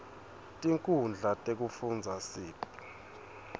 tinkhundla tekufundza sib